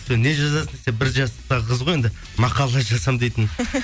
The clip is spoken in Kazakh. не жазасың десең бір жастағы қыз ғой енді мақала жазамын дейтін